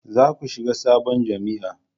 za ku shiga sabon jami'a!